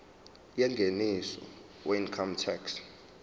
yengeniso weincome tax